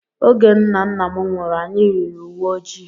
Oge nna nna m nwụrụ, anyị yiri uwe ojii.